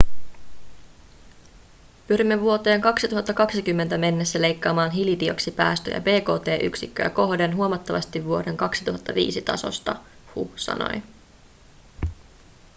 pyrimme vuoteen 2020 mennessä leikkaamaan hiilidioksidipäästöjä bkt-yksikköä kohden huomattavasti vuoden 2005 tasosta hu sanoi